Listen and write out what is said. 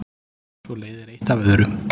svo leiðir eitt af öðru